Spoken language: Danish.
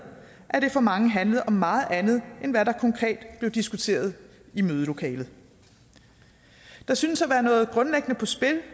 at det for mange handlede om meget andet end hvad der konkret blev diskuteret i mødelokalet der synes at være noget grundlæggende på spil